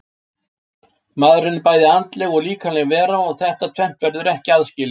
Maðurinn er bæði andleg og líkamleg vera og þetta tvennt verður ekki aðskilið.